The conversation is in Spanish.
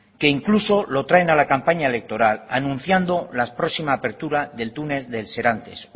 que incluso lo traen a la campaña electoral anunciado la próxima apertura del túnel del serantes